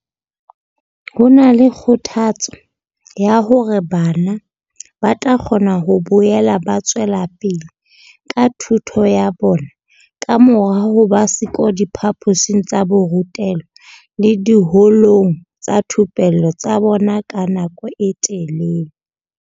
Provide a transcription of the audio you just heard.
Ho na le kgothatso ya hore bana ba tla kgona ho boela ba tswela pele ka thuto ya bona kamora ho ba siyo diphaposing tsa borutelo le diholong tsa dithupello tsa bona ka nako e telele.